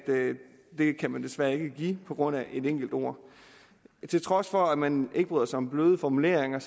det kan man desværre ikke give på grund af et enkelt ord til trods for at man ikke bryder sig om bløde formuleringer